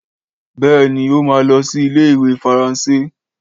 Béèni, ó ma lọsí ilé ìwé faransé